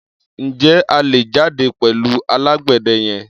Ǹjẹ́ a lè jáde pẹ̀lú alágbẹ̀dẹ yẹn?